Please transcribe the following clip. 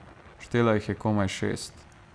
Štela jih je komaj šest.